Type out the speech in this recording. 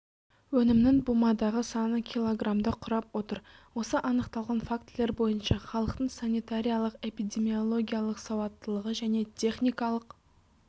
өнімнің бумадағы саны кг-ды құрап отыр осы анықталған фактілер бойынша халықтың санитариялық-эпидемиологиялық салауаттылығы және техникалық